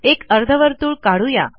एक अर्धवर्तुळ काढू या